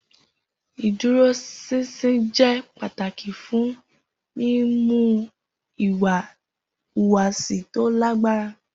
Iduroṣinṣin jẹ pataki fun mimu iwa ihuwasi to lagbara.